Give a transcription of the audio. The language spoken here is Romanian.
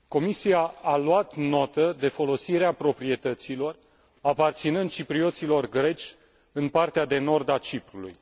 Comisia a luat notă de folosirea proprietăților aparținând ciprioților greci în partea de nord a Ciprului.